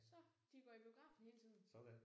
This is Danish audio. Så de går i biografen hele tiden